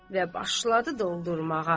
Və başladı doldurmağa.